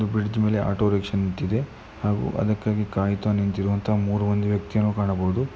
ಇಲ್ಲಿ ಒಂದು ಆಟೋರಿಕ್ಷಾ ನಿಂತಿದೆ ಹಾಗು ಅದಕ್ಕಾಗಿ ಕಾಯುತ್ತಾ ನಿಂತಿರುವಂತ ಮೂರು ವ್ಯಕ್ತಿಗಳು ಕಾಣಬಹುದು.